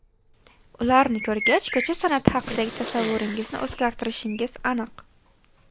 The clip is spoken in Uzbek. Ularni ko‘rgach, ko‘cha san’ati haqidagi tasavvuringizni o‘zgartirishingiz aniq.